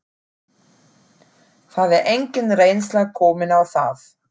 Það er engin reynsla komin á það.